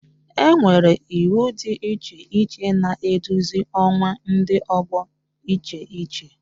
Enwere iwu dị iche iche na-eduzi ọkwa Ndi ọgbọ iche iche